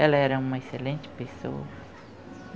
Ela era uma excelente pessoa.